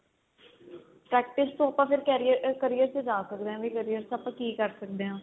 practice ਤੋਂ ਆਪਾਂ ਫੇਰ career ਆ career ਚ ਜਾ ਸਕਦੇ ਆ ਵੀ career ਚ ਆਪਾਂ ਕੀ ਕਰ ਸਕਦੇ ਆ